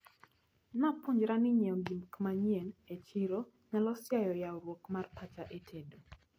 Napuonjra ni nyiewo gikmanyien e chiro nyalo siayo yawruok mar pacha e tedo.